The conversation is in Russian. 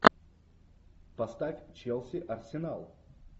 поставь челси арсенал